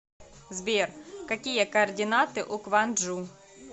сбер какие координаты у кванджу